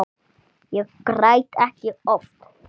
Ég græt ekki oft.